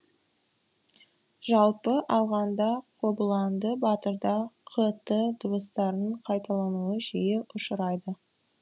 жалпы алғанда қобыланды батырда қ т дыбыстарының қайталануы жиі ұшырайды